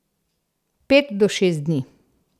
Pet do šest dni.